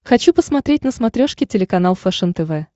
хочу посмотреть на смотрешке телеканал фэшен тв